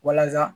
Walasa